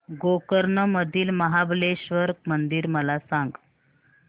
गोकर्ण मधील महाबलेश्वर मंदिर मला सांग